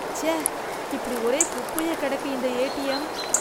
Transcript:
ச்சே, இப்படி ஒரே குப்பையா கிடக்கு இந்த ஏடிஎம்?